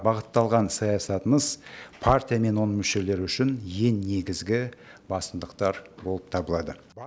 бағытталған саясатыңыз партия мен оның мүшелері үшін ең негізгі басымдықтар болып табылады